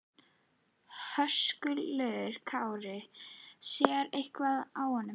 Höskuldur Kári: Sér eitthvað á honum?